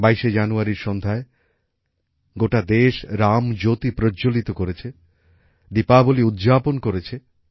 ২২শে জানুয়ারির সন্ধ্যায় গোটা দেশ রামজ্যোতি প্রজ্জ্বলিত করেছে দীপাবলী উদযাপন করেছে